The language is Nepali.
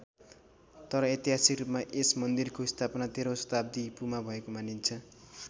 तर ऐतिहासिक रूपमा यस मान्दिरको स्थापना तेह्रौँ शताब्दी इपू मा भएको मानिन्छ।